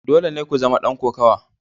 Dole ne ku zama dan kokawa.